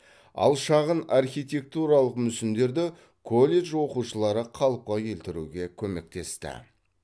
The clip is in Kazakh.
ал шағын архитектуралық мүсіндерді колледж оқушылары қалыпқа келтіруге көмектесті